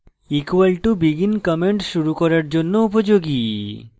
= begin comment শুরু করার জন্য উপযোগী